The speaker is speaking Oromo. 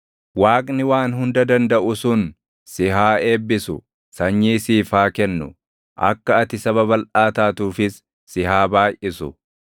Waaqni Waan Hunda Dandaʼu sun si haa eebbisu; sanyii siif haa kennu; akka ati saba balʼaa taatuufis si haa baayʼisu.